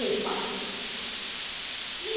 Tímanum og Stína lagði kapal.